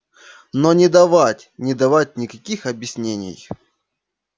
но не давать не давать никаких объяснений